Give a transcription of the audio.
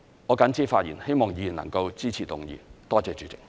我謹此發言，希望議員能夠支持議案。